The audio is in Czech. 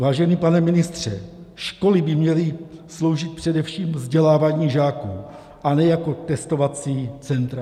Vážený pane ministře, školy by měly sloužit především vzdělávání žáků, a ne jako testovací centra.